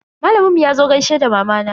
Malamin mu yazo gaishe da mamana.